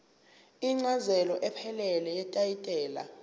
incazelo ephelele yetayitela